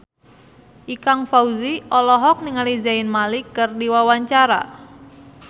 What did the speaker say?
Ikang Fawzi olohok ningali Zayn Malik keur diwawancara